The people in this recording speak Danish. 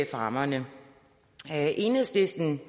rammerne enhedslisten